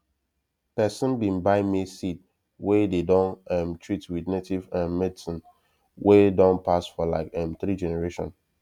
person bin buy maize seed wey dey don um treat with native um medicine wey don pass for like um three generation